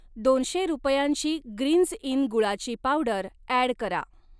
दोनशे रुपयांची ग्रीन्झ इन गुळाची पावडर ॲड करा.